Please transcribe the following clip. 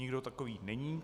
Nikdo takový není.